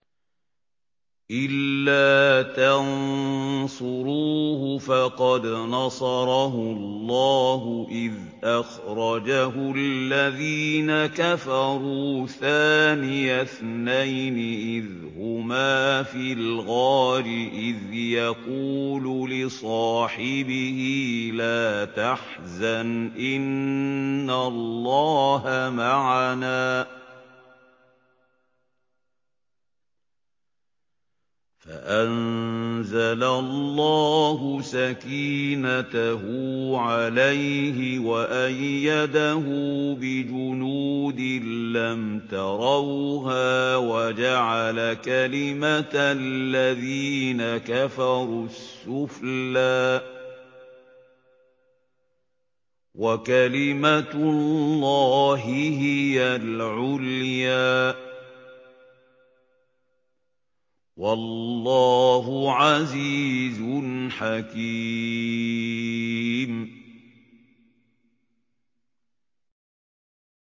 إِلَّا تَنصُرُوهُ فَقَدْ نَصَرَهُ اللَّهُ إِذْ أَخْرَجَهُ الَّذِينَ كَفَرُوا ثَانِيَ اثْنَيْنِ إِذْ هُمَا فِي الْغَارِ إِذْ يَقُولُ لِصَاحِبِهِ لَا تَحْزَنْ إِنَّ اللَّهَ مَعَنَا ۖ فَأَنزَلَ اللَّهُ سَكِينَتَهُ عَلَيْهِ وَأَيَّدَهُ بِجُنُودٍ لَّمْ تَرَوْهَا وَجَعَلَ كَلِمَةَ الَّذِينَ كَفَرُوا السُّفْلَىٰ ۗ وَكَلِمَةُ اللَّهِ هِيَ الْعُلْيَا ۗ وَاللَّهُ عَزِيزٌ حَكِيمٌ